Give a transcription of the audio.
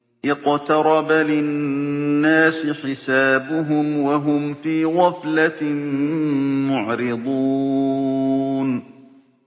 اقْتَرَبَ لِلنَّاسِ حِسَابُهُمْ وَهُمْ فِي غَفْلَةٍ مُّعْرِضُونَ